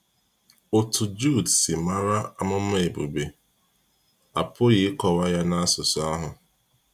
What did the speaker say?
Otu Jude si mara amụma Ebube, a pụghị ịkọwa ya n’asụsụ ahụ.